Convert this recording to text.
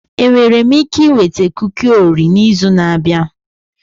Enwere m ike ịnweta kuki Orio n'izu na-abịa?